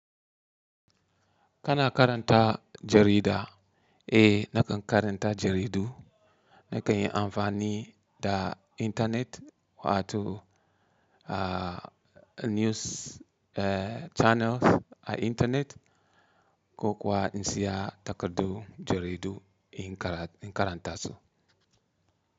Kana karanta jarida? Eh nakan karanta jaridu. Nakan yi amfani da intanet wato a news eh channels a intanet ko kuwa in saya takardun jaridu in karanta su.